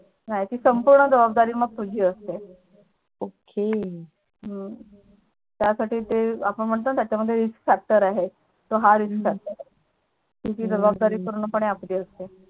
हो ती संपूर्ण जबादारी तुझीच असते OK हम्म त्यासाठी आपण ते म्हणतो ना कि त्याच्या मध्ये Risk factor आहे तो हा Risk factor हा आहे कि ती जबाबदारी पूर्णपणे आपली असते